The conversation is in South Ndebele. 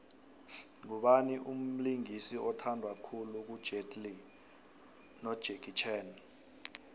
ngubani umbingisi othandwa khulu kujetlee nojakie chan